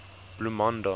bloemanda